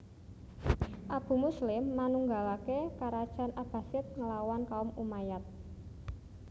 Abu Muslim manunggalaké karajan Abbasid nglawan kaum Umayyad